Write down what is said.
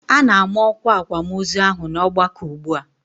A na-ama ọkwa akwamozu ahụ n'ọgbakọ ugbu a.